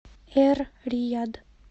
эр рияд